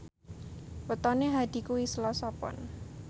wetone Hadi kuwi Selasa Pon